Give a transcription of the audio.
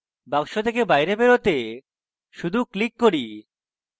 box থেকে বাইরে বেরোতে শুধু ক্লিক করি